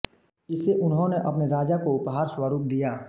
इसे उन्होंने अपने राजा को उपहार स्वरूप दिया